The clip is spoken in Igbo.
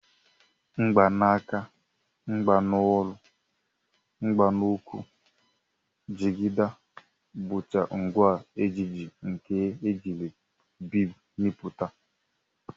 Mgbanaka, mgbanolu, mgbanukwu, jigida, bụcha ngwa ejiji nke e jiri biid mepụta